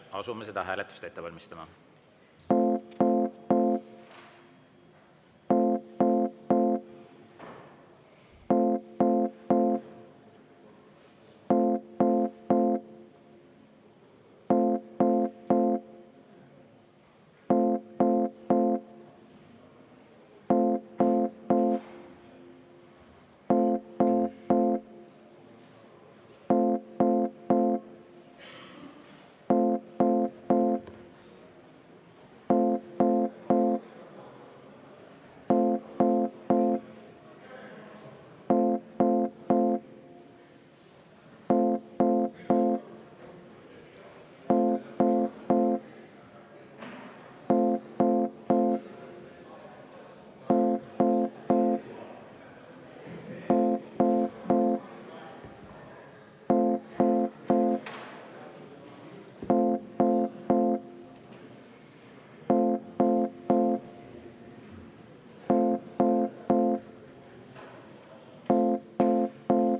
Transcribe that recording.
Asume seda hääletust ette valmistama.